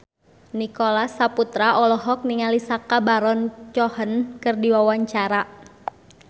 Nicholas Saputra olohok ningali Sacha Baron Cohen keur diwawancara